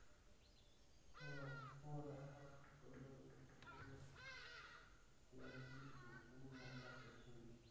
inguraa inkoitoi nidungie siadi enkitumiata eshimbi.